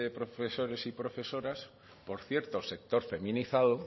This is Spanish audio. profesores y profesoras por cierto sector feminizado